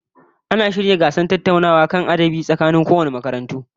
Ana shirya gasar tattaunawa kan adabi tsakanin makarantar yaro na da wasu makarantu